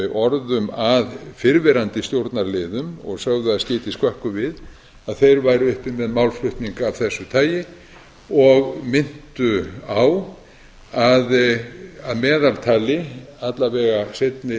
orðum að fyrrverandi stjórnarliðum og sögðu að skyti skökku við að þeir væru uppi með málflutning af þessu tagi og minntu á að að meðaltali alla vega seinni